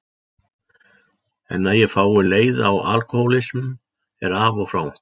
En að ég fái leiða á alkohólistum er af og frá.